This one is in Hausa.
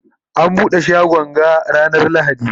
ana buɗe shagon ga ranar lahadi?